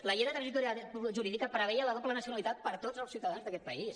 la llei de transitorietat jurídica preveia la doble nacionalitat per a tots els ciutadans d’aquest país